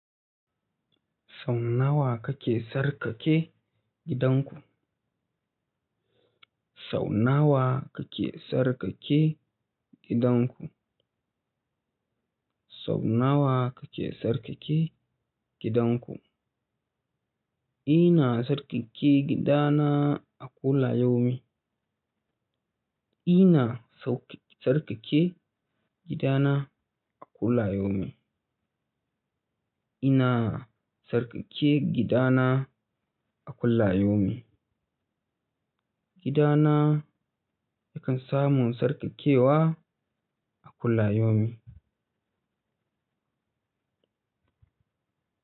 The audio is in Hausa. Sau nawa kake sarkake gidanku? Sau nawa kake sarkake gidanku? Sau nawa kake sarkake gidanku? Ina sarkake gidana a kullayomin. Ina sauƙ-- sarƙaƙe gidana a kullayomi. Ina sarƙaƙe gidana a kullayomi. Gidana yakan samu sarƙaƙewa a kullayomi.